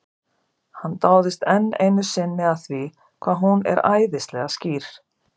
Hann dáist enn einu sinni að því hvað hún er æðislega skýr.